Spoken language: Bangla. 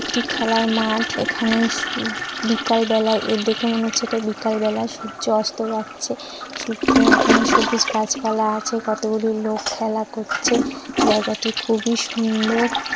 একটি খেলার মাঠ এখানেই শু-- বিকালবেলা এ দেখে মনে হচ্ছে এটা বিকালবেলা সূর্য অস্ত যাচ্ছে সূর্য-- এখানে সবুজ গাছপালা আছে কতগুলি লোক খেলা করছে জায়গাটি খুবই সুন্দর।